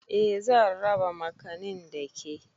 Eh zan raba makanin da ke